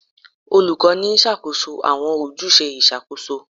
Olukọni n ṣakoso awọn ojuse iṣakoso